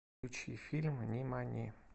включи фильм нимани